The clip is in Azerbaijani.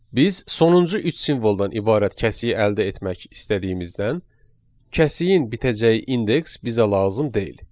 Biz sonuncu üç simvoldan ibarət kəsiyi əldə etmək istədiyimizdən, kəsiyin bitəcəyi indeks bizə lazım deyil.